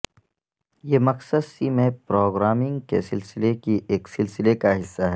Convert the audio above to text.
یہ مقصد سی میں پروگرامنگ کے سلسلے کی ایک سلسلہ کا حصہ ہے